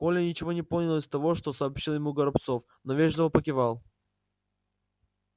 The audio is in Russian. коля ничего не понял из того что сообщил ему горобцов но вежливо покивал